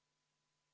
Mida Eesti teeb?